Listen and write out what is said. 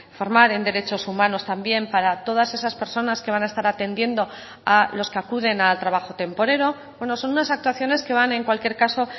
formar en derechos humanos también para todas esas personas que van a estar atendiendo a los que acuden al trabajo temporero bueno son unas actuaciones que van en cualquier caso